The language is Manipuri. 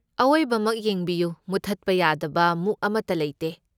ꯑꯋꯣꯏꯕꯃꯛ ꯌꯦꯡꯕꯤꯌꯨ, ꯃꯨꯠꯊꯠꯄ ꯌꯥꯗꯕ ꯃꯨꯛ ꯑꯃꯠꯇ ꯂꯩꯇꯦ꯫